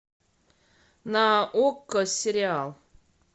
на окко сериал